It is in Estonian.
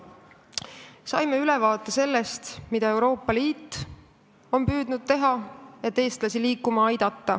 Saime ülevaate sellest, mida on Euroopa Liit püüdnud teha, et eestlasi liikuma panna.